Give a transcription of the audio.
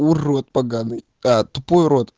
урод поганый а тупой урод